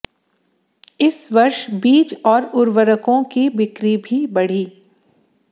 इस वर्ष बीज और उर्वरकों की बिक्री भी बढ़ी